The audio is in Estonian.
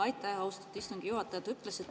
Aitäh, austatud istungi juhataja!